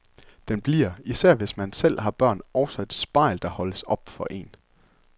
Den bliver, især hvis man selv har børn, også et spejl, der holdes op for én.